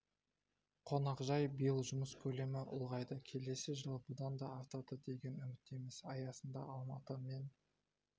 қонақжай биыл жұмыс көлемі ұлғайды келесі жылы бұдан да артады деген үміттеміз аясында алматы мен